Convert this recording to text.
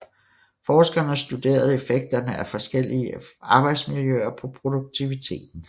Forskerne studerede effekterne af forskellige arbejdsmiljøer på produktiviteten